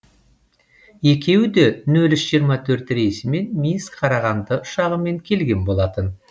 екеуіде нөл үш жиырма төрт рейсімен минск қарағанды ұшағымен келген болатын